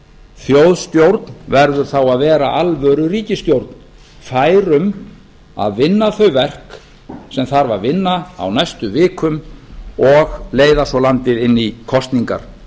þjóðstjórn verður þá að vera alvöruríkisstjórn fær um að vinna þau verk sem þarf að vinna á næstu vikum og leiða svo landið inn í kosningar